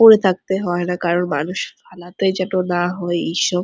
পরে থাকতে হয়না কারন মানুষ ফালাতেই যত না হয় ঈশ্ব--